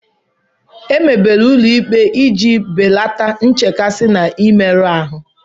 Emebere ụlọ ikpe iji belata nchekasị na mmerụ ahụ